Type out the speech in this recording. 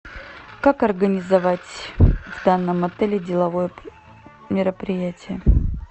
как организовать в данном отеле деловое мероприятие